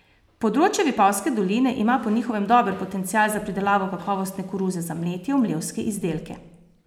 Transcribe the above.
Področje Vipavske doline ima po njihovem dober potencial za pridelavo kakovostne koruze za mletje v mlevske izdelke.